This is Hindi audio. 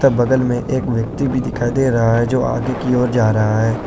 बगल में एक व्यक्ति भी दिखाई दे रहा है जो आगे की ओर जा रहा है।